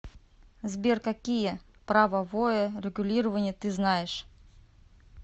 сбер какие правовое регулирование ты знаешь